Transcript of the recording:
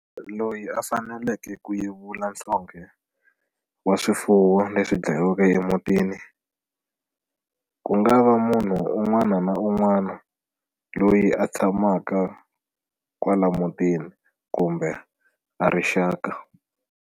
Loyi a faneleke ku yevula nhlonghe wa swifuwo leswi dlayiweke emutini ku nga va munhu un'wana na un'wana loyi a tshamaka kwala emutini kumbe a ri xaka.